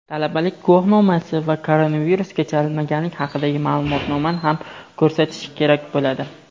talabalik guvohnomasi va koronavirusga chalinmaganlik haqida ma’lumotnomani ham ko‘rsatishi kerak bo‘ladi.